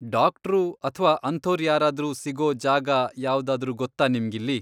Doctor ಅಥ್ವಾ ಅಂಥೋರ್ ಯಾರಾದ್ರೂ ಸಿಗೋ ಜಾಗ ಯಾವ್ದಾದ್ರೂ ಗೊತ್ತಾ ನಿಮ್ಗಿಲ್ಲಿ?